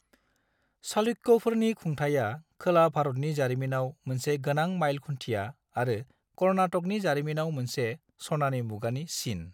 चालुक्यफोरनि खुंथाया खोला भारतनि जारिमिनाव मोनसे गोनां माइल खुन्थिया आरो कर्नाटकनि जारिमिनाव मोनसे सनानि मुगानि सिन।